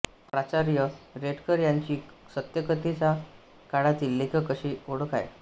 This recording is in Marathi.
प्राचार्य रेडकर यांची सत्यकथेच्या काळातील लेखक अशी ओळख आहे